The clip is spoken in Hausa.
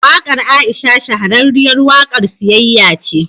Waƙar Aisha shahararriyar waƙar siyayya ce.